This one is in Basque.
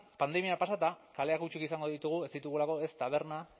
pandemia pasata kaleak hutsik izango ditugu ez ditugulako ez taberna